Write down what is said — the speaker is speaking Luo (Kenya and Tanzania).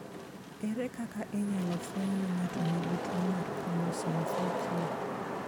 Ere kaka inyalo fweny ni ng'ato nigi tuwo mar chromosome 4q?